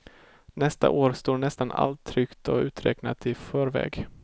Nästa år står nästan allt tryckt och uträknat i förväg.